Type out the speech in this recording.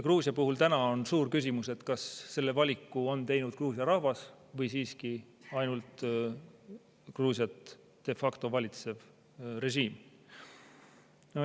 Gruusia puhul täna on suur küsimus, kas selle valiku on teinud Gruusia rahvas või siiski ainult Gruusiat de facto valitsev režiim.